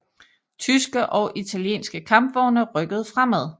Tyske og italienske kampvogne rykkede fremad